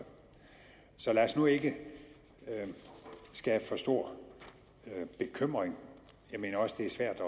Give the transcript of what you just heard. så lad os nu ikke skabe for stor bekymring jeg mener også det er svært